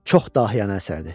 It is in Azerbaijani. Çox dahiyanə əsərdir.